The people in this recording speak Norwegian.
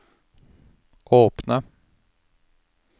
åpne